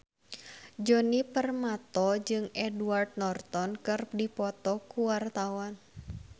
Djoni Permato jeung Edward Norton keur dipoto ku wartawan